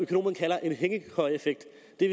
det